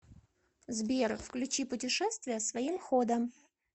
сбер включи путешествия своим ходом